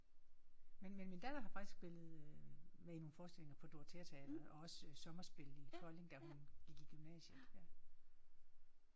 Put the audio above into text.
Men men min datter har faktisk spillet med i nogle forestillinger på Dorotheateatret og også sommerspillet Kolding da hun gik i gymnasiet